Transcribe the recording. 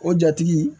O jatigi